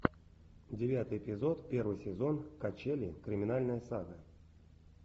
девятый эпизод первый сезон качели криминальная сага